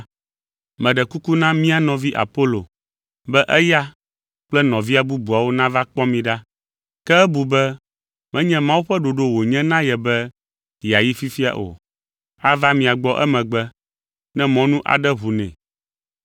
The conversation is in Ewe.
Meɖe kuku na mía nɔvi Apolo be eya kple nɔvia bubuwo nava kpɔ mi ɖa, ke ebu be menye Mawu ƒe ɖoɖo wònye na ye be yeayi fifia o. Ava mia gbɔ emegbe ne mɔnu aɖe ʋu nɛ.